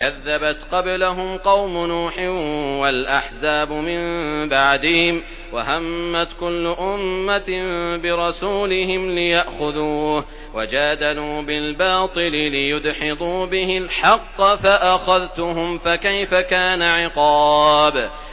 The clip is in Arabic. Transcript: كَذَّبَتْ قَبْلَهُمْ قَوْمُ نُوحٍ وَالْأَحْزَابُ مِن بَعْدِهِمْ ۖ وَهَمَّتْ كُلُّ أُمَّةٍ بِرَسُولِهِمْ لِيَأْخُذُوهُ ۖ وَجَادَلُوا بِالْبَاطِلِ لِيُدْحِضُوا بِهِ الْحَقَّ فَأَخَذْتُهُمْ ۖ فَكَيْفَ كَانَ عِقَابِ